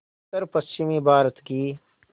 उत्तरपश्चिमी भारत की